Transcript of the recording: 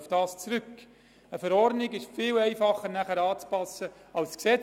Eine Anpassung der Verordnung ist einfacher als die Änderung des Gesetzes.